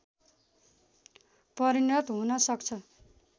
परिणत हुन सक्छ